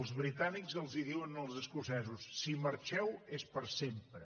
els britànics els diuen als escocesos si marxeu és per sempre